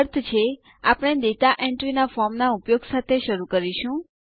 અર્થ છે આપણે data entry ના ફોર્મના ઉપયોગ સાથે શરૂ કરીશું